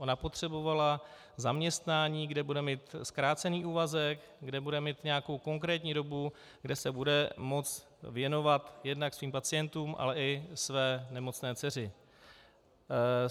Ona potřebovala zaměstnání, kde bude mít zkrácený úvazek, kde bude mít nějakou konkrétní dobu, kde se bude moci věnovat jednak svým pacientům, ale i své nemocné dceři.